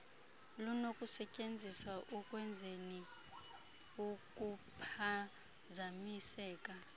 lunokusetyenziswa ukwenzeni ukuphazamiseka